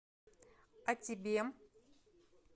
а тебе